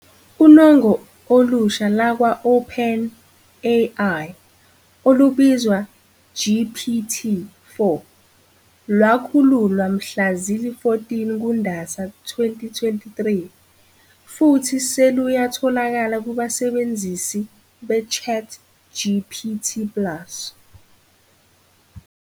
Unongo olusha lakwa-OpenAI olubizwa GPT-4, lwakhululwa mhla zili-14 kuNdasa 2023, futhi seluyatholakala kubasebenzisi be- ChatGPT Plus.